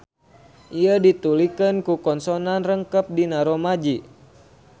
Ieu ditulikeun ku konsonan rangkep dina rōmaji.